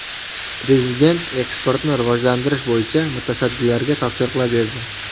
Prezident eksportni rivojlantirish bo‘yicha mutasaddilarga topshiriqlar berdi.